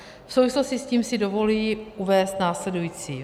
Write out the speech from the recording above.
V souvislosti s tím si dovoluji uvést následující.